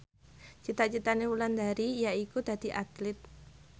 cita citane Wulandari yaiku dadi Atlit